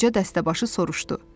Qoca dəstəbaşı soruşdu.